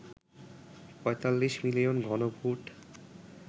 ৪৫ million ঘনফুট